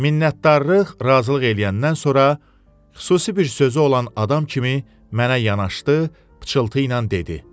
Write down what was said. Minətdarlıq, razılıq eləyəndən sonra xüsusi bir sözü olan adam kimi mənə yanaşdı, pıçıltı ilə dedi.